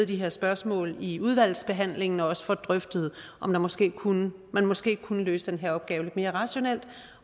de her spørgsmål i udvalgsbehandlingen og også får drøftet om man måske kunne måske kunne løse den her opgave lidt mere rationelt